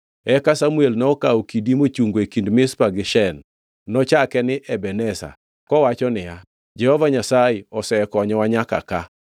Eka Samuel nokawo kidi mochungo e kind Mizpa gi Shen. Nochake ni Ebeneza kowacho niya, “Jehova Nyasaye osekonyowa nyaka ka.”